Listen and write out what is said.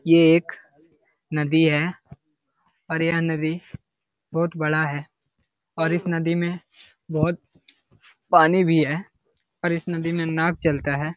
ये एक नदी है और यह नदी बहुत बड़ा है और इस नदी में बहुत पानी भी है और इस नदी में नाव चलता है।